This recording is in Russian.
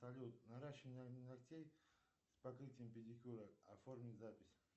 салют наращивание ногтей с покрытием педикюра оформить запись